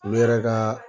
U yɛrɛ ka